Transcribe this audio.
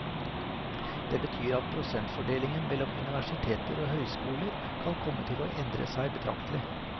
Det betyr at prosentfordelingen mellom universiteter og høyskoler kan komme til å endre seg betraktelig.